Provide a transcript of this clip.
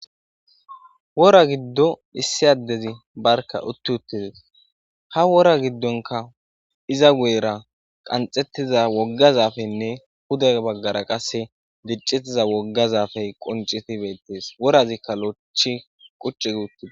wora giddo issiyaddezi barka utti uttides ha wora giddonka iza goyera qanxettiza woggazafenne huda baggara qase diccitiza woggazafey qoncitibettes worazikka lochi qucci gi uttide